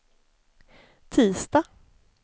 tisdag